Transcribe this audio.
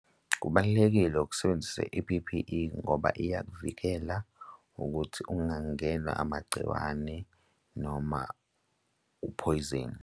Kubalulekile ukusebenzisa i-P_P_E ngoba iyakuvikela ukuthi ungangenwa amagciwane noma uphoyizeni.